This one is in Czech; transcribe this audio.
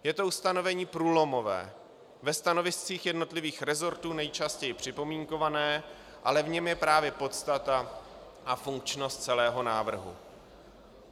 Je to ustanovení průlomové, ve stanoviscích jednotlivých resortů nejčastěji připomínkované, ale v něm je právě podstata a funkčnost celého návrhu.